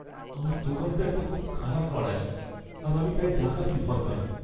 আমার দোকানটা একটা খুব খারাপ পাড়ায়, আর আমি তাই ডাকাতির ভয় পাই।